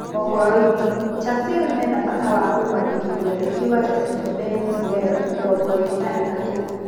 (Mohoroinĩ) Chasile menabata wa kũmwandĩkithia mbeki wa Lesito Beni Sirwel, mĩrongoĩrĩ na ĩtatu.